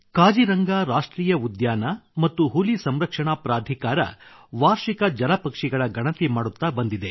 ಕಾಜಿರಂಗಾ ರಾಷ್ಟ್ರೀಯ ಉದ್ಯಾನ ಮತ್ತು ಹುಲಿ ಸಂರಕ್ಷಣಾ ಪ್ರಾಧಿಕಾರ ವಾರ್ಷಿಕ ಜಲಪಕ್ಷಿಗಳ ಗಣತಿ ಮಾಡುತ್ತಾ ಬಂದಿದೆ